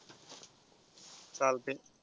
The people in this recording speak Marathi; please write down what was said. चालतंय.